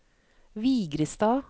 Vigrestad